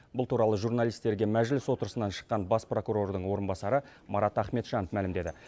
бұл туралы журналистерге мәжіліс отырысынан шыққан бас прокурордың орынбасары марат ахметжанов мәлімдеді